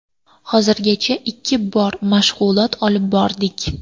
Hozirgacha ikki bor mashg‘ulot olib bordik.